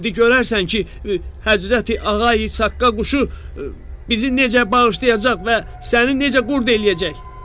İndi görərsən ki, Həzrəti Ağa İsaqqa quşu bizi necə bağışlayacaq və səni necə qurd eləyəcək.”